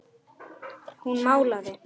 Hún málaði.